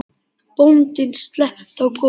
Bóndinn sletti í góm.